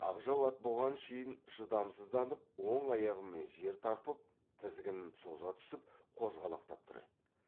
ақжал ат бұған шейін шыдамсызданып оң аяғымен жер тарпып тізгінін соза түсіп қозғалақтап тұр еді